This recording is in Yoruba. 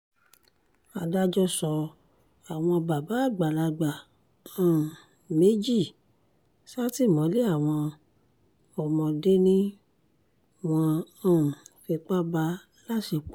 adájọ́ sọ àwọn bàbá àgbàlagbà um méjì sátìmọ́lé àwọn ọmọdé ni wọ́n um fipá bá láṣepọ̀